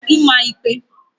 ịma ịkpe